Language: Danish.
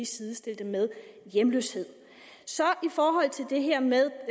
sidestilles med hjemløshed i forhold til det her med